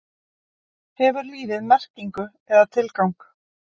Hefur lífið merkingu eða tilgang?